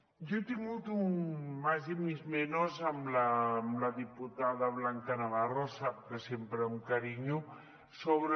jo he tingut mis más y mis menos amb la diputada blanca navarro sap que sempre amb carinyo sobre